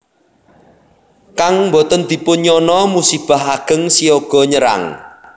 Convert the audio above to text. Kang boten dipun nyana musibah ageng siaga nyerang